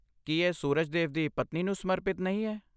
ਕੀ ਇਹ ਸੂਰਜ ਦੇਵ ਦੀ ਪਤਨੀ ਨੂੰ ਸਮਰਪਿਤ ਨਹੀਂ ਹੈ?